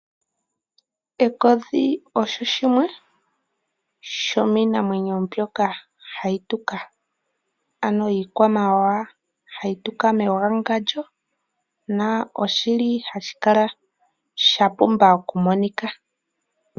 Ekodhi osho shimwe shomiinamwenyo mbyoka hayi tuka ano iikwamawawa hayi tuka mewangandjo noshili sha pumba okumonika.